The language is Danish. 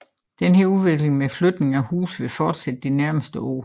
Denne udvikling med flytning af huse vil fortsætte i de nærmeste år